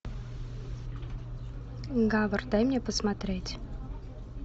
гавар дай мне посмотреть